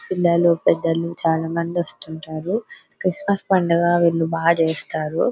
పిల్లలు పెద్దలు చాల మంది వస్తూవుంటారు క్రిస్మస్ పండుగ వీళ్ళు బాగా చేస్తారు.